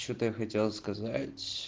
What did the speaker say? что-то я хотел сказать